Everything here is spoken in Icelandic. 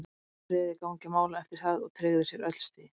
Brann réði gangi mála eftir það og tryggðu sér öll stigin.